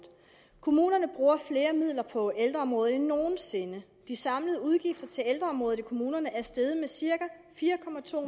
kommunerne bruger flere midler på ældreområdet end nogen sinde de samlede udgifter til ældreområdet i kommunerne er steget med cirka fire